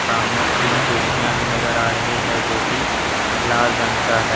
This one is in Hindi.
सामने तीन कुर्सियां भी नजर आ रही हैं जोकि लाल रंग का है।